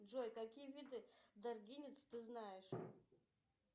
джой какие виды даргинец ты знаешь